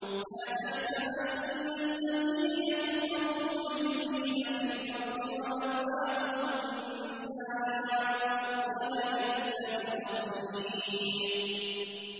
لَا تَحْسَبَنَّ الَّذِينَ كَفَرُوا مُعْجِزِينَ فِي الْأَرْضِ ۚ وَمَأْوَاهُمُ النَّارُ ۖ وَلَبِئْسَ الْمَصِيرُ